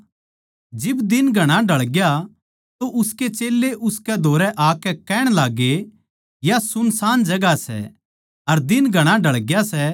जिब दिन घणा ढळग्या तो उसके चेल्लें उसकै धोरै आकै कहण लागगे या सुनसान जगहां सै अर दिन घणा ढळग्या सै